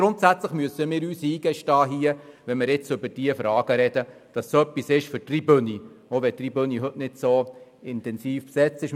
Wenn wir über diese Fragen reden, müssen wir uns grundsätzlich eingestehen, dass es etwas für die Tribüne ist, auch wenn die Tribüne heute nicht so intensiv besetzt ist.